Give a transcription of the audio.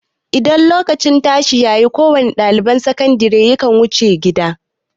Idan lokacin tashi ya yi, kowa ne ɗalibin makatarantar sakandire ya kan wuce gida.